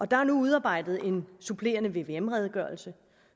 der er nu udarbejdet en supplerende vvm redegørelse